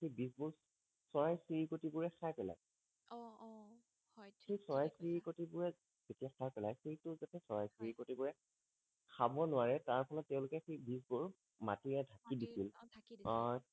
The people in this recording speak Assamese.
সেই বীজ বোৰ চৰাই চিৰিকটি বোৰে খায় পেলাই অ অ হয় সেই চৰাই চিৰিকটি বোৰে যেতিয়া খায় পেলাই সেইটো যাতে চৰাই চিৰিকটি বোৰে খাব নোৱাৰে তাৰ ফলত তেওঁলোকে সেই বীজ বোৰ মাটিয়ে ঢাকি দিছিল অ ঢাকি দিছিল অ